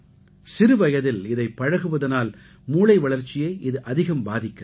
சிறுவயதில் இதைப் பழகுவதனால் மூளை வளர்ச்சியை இது அதிகம் பாதிக்கிறது